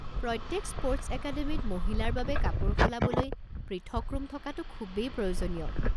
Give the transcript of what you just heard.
প্ৰত্যেক স্পৰ্টছ একাডেমিত মহিলাৰ বাবে কাপোৰ সলাবলৈ পৃথক ৰুম থকাটো খুবেই প্ৰয়োজনীয়।